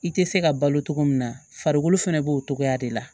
I tɛ se ka balo cogo min na farikolo fana b'o cogoya de la